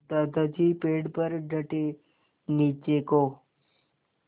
दादाजी पेड़ पर डटे नीचे को